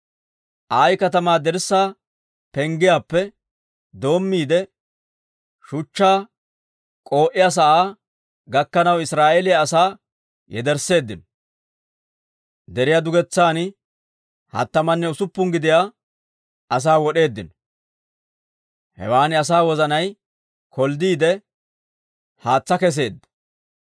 Ayi katamaa dirssaa penggiyaappe doommiide, shuchchaa k'oo'iyaa sa'aa gakkanaw Israa'eeliyaa asaa yedersseeddino; deriyaa dugetsan hattamanne usuppun gidiyaa asaa wod'eeddino. Hewan asaa wozanay kolddiide, haatsaa kesseedda.